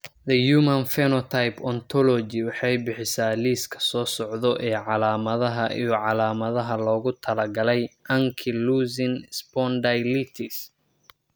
The Human Phenotype Ontology waxay bixisaa liiska soo socda ee calaamadaha iyo calaamadaha loogu talagalay ankylosing spondylitis.